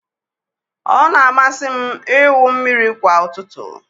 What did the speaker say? Ọ na-amasị m ịwụ mmiri kwa ụtụtụ